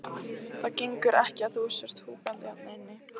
Það gengur ekki að þú sért húkandi hérna inni.